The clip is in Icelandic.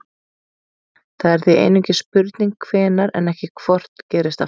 Það er því einungis spurning hvenær en ekki hvort gerist aftur.